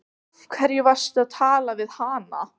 Af hverju varstu að tala við hana?